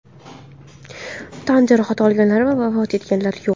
Tan jarohati olganlar va vafot etganlar yo‘q.